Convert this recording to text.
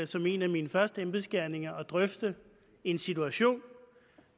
som en af mine første embedsgerninger at drøfte en situation